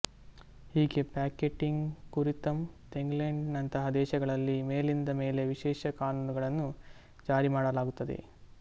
ಹೀಗೆ ಪಿಕೆಟಿಂಗ್ ಕುರಿತಂತೇಂಗ್ಲೆಂಡ್ ನಂತಹ ದೇಶಗಳಲ್ಲಿ ಮೇಲಿಂದ ಮೇಲೆ ವಿಶೇಷ ಕಾನೂನುಗಳನ್ನು ಜಾರಿ ಮಾಡಲಾಗುತ್ತದೆ